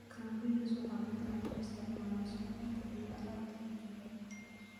Cranberries waxaa badanaa loo isticmaalaa suugada iyo alaabta la dubay.